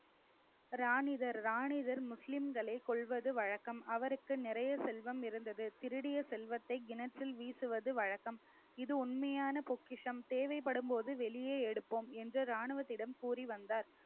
ராணிதர் ராணிதர் முஸ்லிம்களை கொல்வது வழக்கம் அவருக்கு நிறைய செல்வம் இருந்தது திருடிய செல்வத்தை கிணற்றில் வீசுவது வழக்கம் இது உண்மையான பொக்கிஷம் தேவைப்படும்போது வெளியே எடுப்போம் என்று ராணுவத்திடம் கூறி வந்தார்